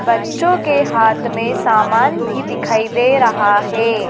बच्चों के हाथ में सामान भी दिखाई दे रहा है।